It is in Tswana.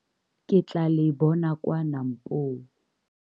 Ke tlaa le bona kwa Nampo!